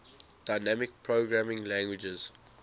dynamic programming languages